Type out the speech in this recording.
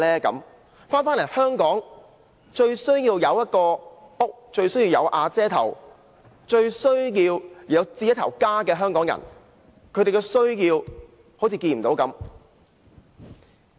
在香港，最需要有一個家，最需要"有瓦遮頭"，最需要置家的香港人，政府對他們的需要卻視若無睹。